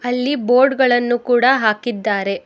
ಅಲ್ಲಿ ಬೋರ್ಡ್ ಗಳನು ಕೂಡಾ ಹಾಕಿದ್ದಾರೆ.